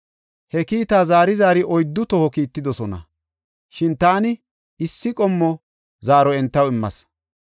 He kiitaa zaari zaari oyddu toho kiittidosona; shin taani issi qommo zaaro entaw immas.